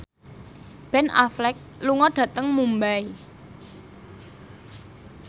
Ben Affleck lunga dhateng Mumbai